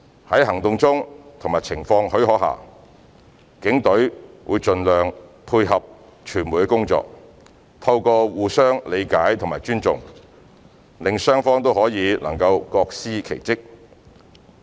在行動中及情況許可下，警隊會盡量配合傳媒的工作，透過互相理解和尊重，令雙方都能各司其職。